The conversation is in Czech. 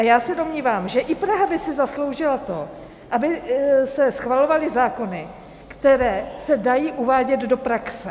A já se domnívám, že i Praha by si zasloužila to, aby se schvalovaly zákony, které se dají uvádět do praxe.